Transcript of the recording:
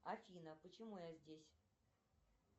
афина почему я здесь